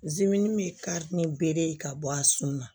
min kari ni bere ye ka bɔ a sun na